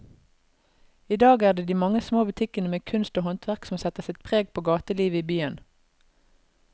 I dag er det de mange små butikkene med kunst og håndverk som setter sitt preg på gatelivet i byen.